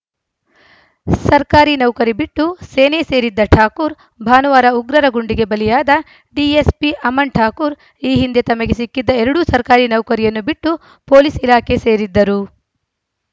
ಸರ್ಕಾರಿ ನೌಕರಿ ಬಿಟ್ಟು ಸೇನೆ ಸೇರಿದ್ದ ಠಾಕೂರ್‌ ಭಾನುವಾರ ಉಗ್ರರ ಗುಂಡಿಗೆ ಬಲಿಯಾದ ಡಿಎಸ್‌ಪಿ ಅಮನ್‌ ಠಾಕೂರ್‌ ಈ ಹಿಂದೆ ತಮಗೆ ಸಿಕ್ಕಿದ್ದ ಎರಡು ಸರ್ಕಾರಿ ನೌಕರಿಯನ್ನು ಬಿಟ್ಟು ಪೊಲೀಸ್‌ ಇಲಾಖೆ ಸೇರಿದ್ದರು